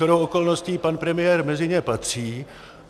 Shodou okolností pan premiér mezi ně patří.